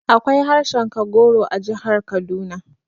Akwai harshen Kagoro a jihar Kaduna